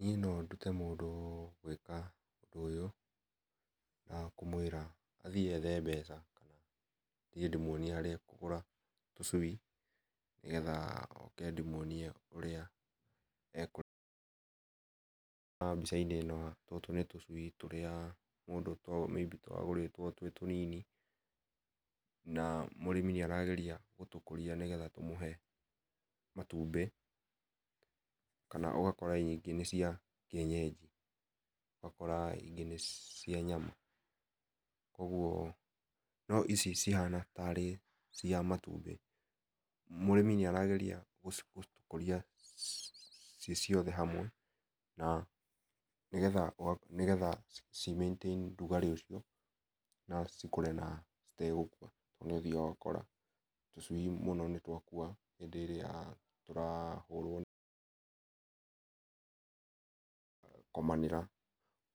Niĩ no ndũte mũndũ gwĩka ũndũ ũyũ na kũmwĩra athiĩ ethe mbeca tũthiĩ ndĩmũonĩe harĩa ekũgũra tũcũi nĩgetha oke ndĩmwonie ũrĩa mbĩca inĩ ĩno tũtũ nĩ tũcũi tũrĩa mũndũ may be twagũrĩtwo twĩ tũnini na mũrĩmĩ nĩ arageria gũkũtũkũria nĩ getha tũmũhe matũmbĩ na ũgakora nyingĩ nĩ cia kĩenyenji ũgakora ingĩ nĩ cia nyama kũogũo no icĩ cihana tari cia matũmbĩ mũrĩmi nĩ arageria gũkũria ciĩciothe hamwe na nĩgetha nĩgetha cĩ maintain rũgarĩ ũcio na cikũre na ĩtegũkua to nĩũthiaga ũgakora tũcuĩ mũno nĩ twakũa hĩndĩ ĩrĩa tũrahũrwo gũkomanĩra